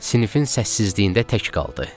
Sinifin səssizliyində tək qaldı.